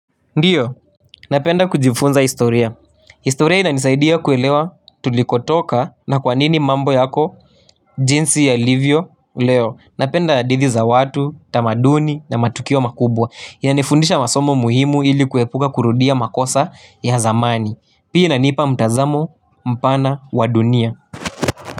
Ndiyo, napenda kujifunza historia historia ina nisaidia kuelewa tulikotoka na kwa nini mambo yako jinsi ya livio leo Napenda hadidhi za watu, tamaduni na matukio makubwa ina nifundisha masomo muhimu ili kuepuka kurudia makosa ya zamani Pia inanipa mtazamo mpana wadunia.